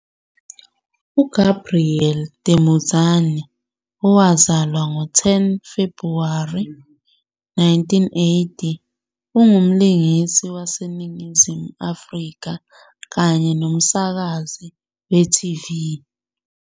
UGabriel Temudzani, owazalwa 10 February 1980, ungumlingisi waseNingizimu Afrika kanye nomsakazi we-TV.